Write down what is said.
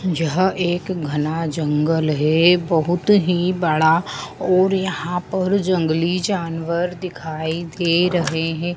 जहां एक घना जंगल है बहुत ही बड़ा और यहां पर जंगली जानवर दिखाई दे रहे हैं।